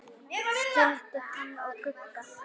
Skildu hann og Gugga?